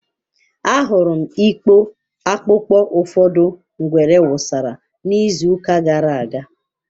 Ahụrụ m ikpo akpụkpọ ụfọdụ ngwere wụsara n'izuụka gara aga.